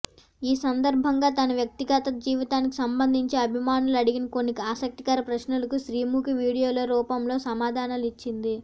ఈ సందర్భంగా తన వ్యక్తిగత జీవితానికి సంబంధించి అభిమానులు అడిగిన కొన్ని ఆసక్తికర ప్రశ్నలకు శ్రీముఖి వీడియోల రూపంలో సమాధానాలిచ్చింది